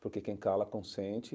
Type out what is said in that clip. Porque quem cala consente.